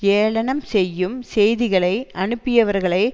ஏளனம் செய்யும் செய்திகளை அனுப்பியவர்களை